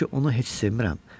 Mən ki onu heç sevmirəm.